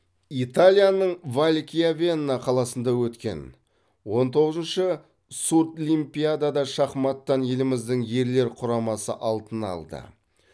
италияның валкьявенна қаласында өткен он тоғызыншы сурдлимпиадада шахматтан еліміздің ерлер құрамасы алтын алды